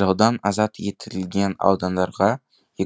жаудан азат етілген аудандарға